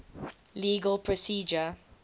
legal procedure